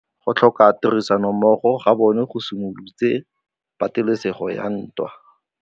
Go tlhoka tirsanommogo ga bone go simolotse patêlêsêgô ya ntwa.